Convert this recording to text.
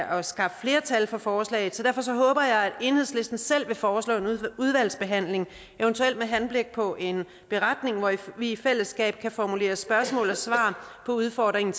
at skaffe flertal for forslaget så derfor håber jeg at enhedslisten selv vil foreslå en udvalgsbehandling eventuelt med henblik på en beretning hvor vi i fællesskab kan formulere spørgsmål og svar på udfordringen